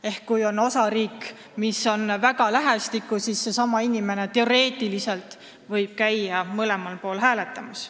Ehk kui osariigid on väga lähestikku, siis inimene võib teoreetiliselt käia mõlemas osariigis hääletamas.